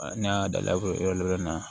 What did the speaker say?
Ne y'a da fo yɔrɔ wɛrɛ la